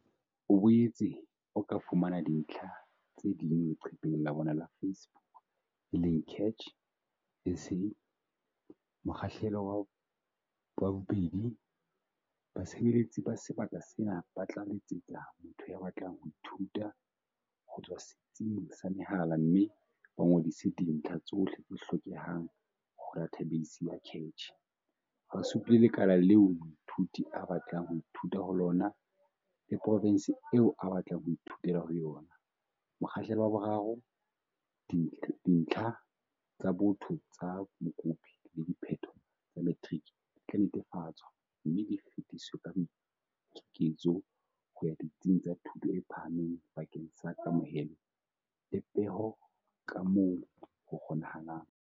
O boetse o ka fumana dintlha tse ding leqepheng la bona la Facebook e leng CACH SA. Mokgahlelo wa 2. Basebeletsi ba sebaka sena ba tla letsetsa motho ya batlang ho ithuta. ho tswa setsing sa mehala mme ba ngodise dintlha tsohle tse hlokehang ho dathabeisi ya CACH. ba supile lekala leo moithuti a batlang ho ithuta ho lona le profense eo a batlang ho ithutela ho yona. Mokgahlelo wa 3. Dintlha tsa botho tsa mokopi le diphetho tsa matriki di tla netefatswa mme di fetiswe ka boiketsetso ho ya ditsing tsa thuto e phahameng bakeng sa kamohelo le peho kamoo ho kgonehang.